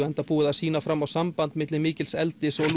enda búið að sýna fram á samband milli mikils eldis og